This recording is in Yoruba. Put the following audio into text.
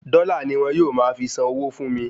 Dọ́là ni wọ́n yóò máa fi san owó fún mi